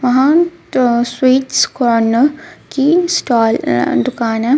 Mahant sweets corner की stall अ दुकान है.